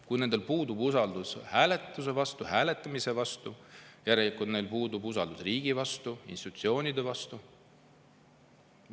Kui nendel inimestel puudub usaldus hääletamise vastu, siis järelikult neil puudub usaldus riigi vastu, institutsioonide vastu.